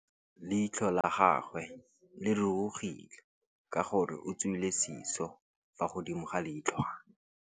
Leitlhô la gagwe le rurugile ka gore o tswile sisô fa godimo ga leitlhwana.